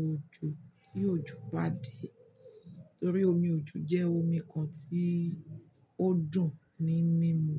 òjò ti òjò ba dé. Nítorí omi òjò jẹ́ omi kan tí ó dùn ní mímú.